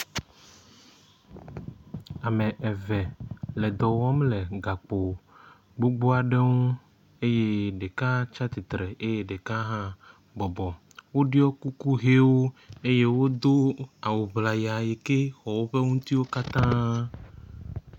Ame eve le dɔwɔm le gakpo gbogboaɖe ŋu eye ɖeka tsiatsistre eye ɖeka hã bɔbɔ woɖio kuku hɛwo eye wodó awu ʋlaya yikɛ xɔ wóƒe ŋutiwo kata